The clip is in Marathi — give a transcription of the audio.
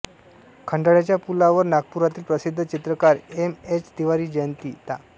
खंडाळ्याच्या पुलावर नागपुरातील प्रसिद्ध चित्रकार एम एच तिवारी जयंती ता